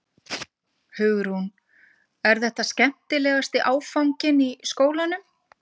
Hugrún: Er þetta skemmtilegasti áfanginn í skólanum?